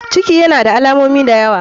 Ciki yana da alamomi dayawa.